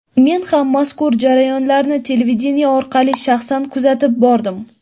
Men ham mazkur jarayonlarni televideniye orqali shaxsan kuzatib bordim.